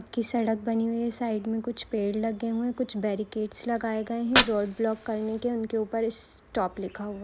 की सड़क बनी हुई है साइड मे कुछ पेड़ लगे हुए है कुछ बेरिकटेस लगाये गए है ब्लॉक करने के उनके ऊपर स्टॉप लिखा हुवा है।